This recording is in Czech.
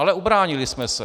Ale ubránili jsme se.